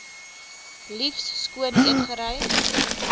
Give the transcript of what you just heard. liefs skoon eetgerei